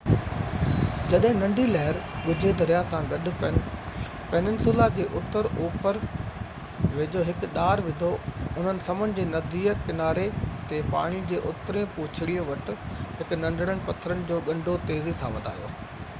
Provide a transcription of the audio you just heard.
جڏهن ننڍي لهر ڳجهي دريا سان گڏ پيننسولا جي اتر اوپر ويجهو هڪ ڏار وڌو انهن سمنڊ جي ننڍي ڪناري تي پاڻي جو اترئين پوڇڙي وٽ هڪ ننڍڙن پٿرن جو ڳنڍو تيزي سان وڌايو